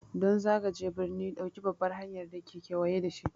Don zagaje birni, ɗauki babbar hanyar da ke kewaye da shi.